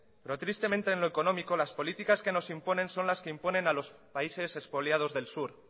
lo tristemente en lo económico las políticas que nos imponen son las que imponen a los países expoliados del sur